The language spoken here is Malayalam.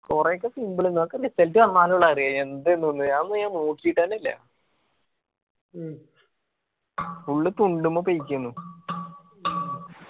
കൊറേ ഒക്കെ simple എന്നു അതൊക്കെ result വനാലുള്ളു അറിയാ എന്തെന്നുന്ന് അതൊന്നും ഞാൻ നോക്കിയിട്ടെന്നെ ഇല്ല. full തുണ്ടുമ്മ തേയ്ക്കയാണു